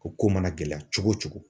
O ko mana gɛlɛya cogo o cogo.